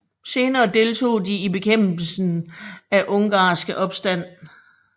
Senere deltog de i bekæmpelsen af den ungarske opstand